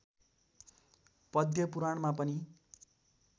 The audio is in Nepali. पद्मपुराणमा पनि